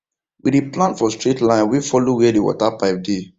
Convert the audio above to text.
we dey plant for straight line wey follow where the water pipe dey